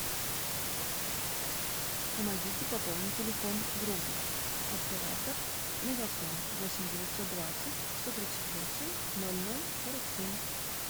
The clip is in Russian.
помогите пополнить телефон другу оператор мегафон восемь девятьсот двадцать сто тридцать восемь ноль ноль сорок семь